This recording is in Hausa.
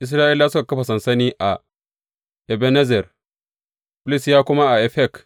Isra’ilawa suka kafa sansani a Ebenezer, Filistiyawa kuma a Afek.